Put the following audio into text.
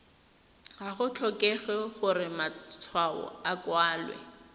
tlhokege gore matshwao a kwalwe